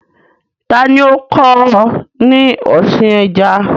Ta ni ó kọ́ ọ ní ọ̀sìn ẹja?